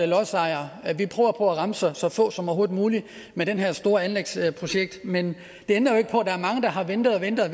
lodsejere at vi prøver på at ramme så så få som overhovedet muligt med det her store anlægsprojekt men det ændrer jo ikke på at der er mange der har ventet og ventet og